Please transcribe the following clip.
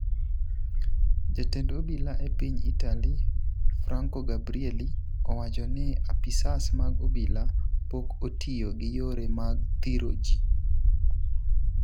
Jatend obila e piny Italy, Franco Gabrielli, owacho ni apisas mag obila pok otiyo gi yore mag thiro ji.